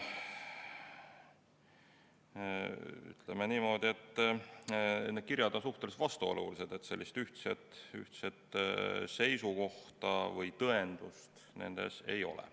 Ütleme niimoodi, et need kirjad on suhteliselt vastuolulised, sellist ühtset seisukohta või tõendust nendes ei ole.